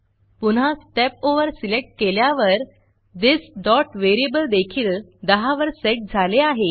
पुन्हा step over step over select केल्यावर this variable देखील 10 वर सेट झाले आहे